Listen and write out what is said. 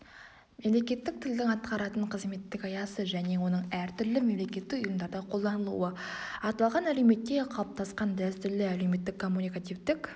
мемлекеттік тілдің атқаратын қызметтік аясы және оның әртүрлі мемлекеттік ұйымдарда қолданылуы аталған әлеуметте қалыптасқан дәстүрлі әлеуметтік-коммуникативтік